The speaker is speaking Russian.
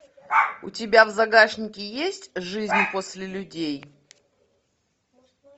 у тебя в загашнике есть жизнь после людей